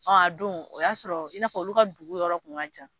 Ɔ a don o y'a sɔrɔ i n'a fɔ olu ka dugu yɔrɔ kun ka ca